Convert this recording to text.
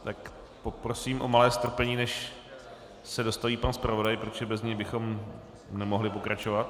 Tak poprosím o malé strpení, než se dostaví pan zpravodaj, protože bez něj bychom nemohli pokračovat.